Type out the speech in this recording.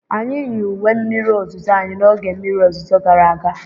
anyị yi uwe mmiri ozuzo anyị n'oge mmiri ozuzo gara aga.